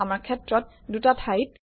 আমাৰ ক্ষেত্ৰত দুটা ঠাইত